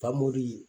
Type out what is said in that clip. Famori